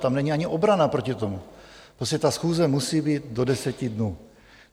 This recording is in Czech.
Tam ani není obrana proti tomu, prostě ta schůze musí být do deseti dnů.